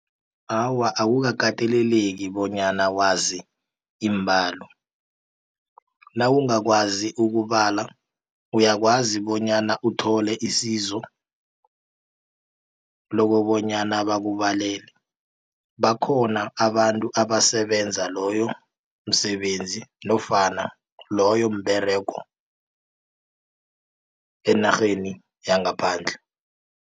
Awa, akukakateleleki bonyana wazi iimbalo nawungakwazi ukubala uyakwazi bonyana uthole isizo lokobonyana bakubalele. Bakhona abantu abasebenza loyo msebenzi nofana loyo mberego enarheni yangaphandle.